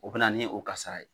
O be na ni o kasara ye